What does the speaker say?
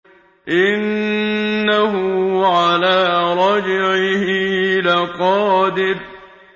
إِنَّهُ عَلَىٰ رَجْعِهِ لَقَادِرٌ